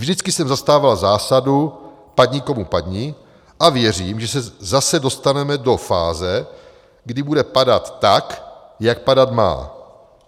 Vždycky jsem zastávala zásadu 'padni komu padni' a věřím, že zase se dostaneme do fáze, kdy bude padat tak, jak padat má.